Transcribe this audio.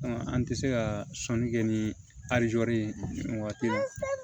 An tɛ se ka sɔnni kɛ ni alijo ye nin waati